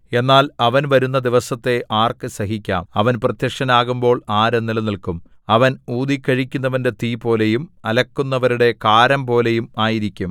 എന്നാൽ അവൻ വരുന്ന ദിവസത്തെ ആർക്ക് സഹിക്കാം അവൻ പ്രത്യക്ഷനാകുമ്പോൾ ആര് നിലനില്ക്കും അവൻ ഊതിക്കഴിക്കുന്നവന്റെ തീപോലെയും അലക്കുന്നവരുടെ കാരംപോലെയും ആയിരിക്കും